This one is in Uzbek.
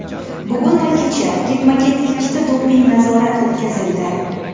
Bugun va kecha ketma-ket ikkita doping-nazorat o‘tkazildi.